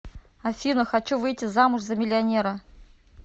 афина хочу выйти замуж за миллионера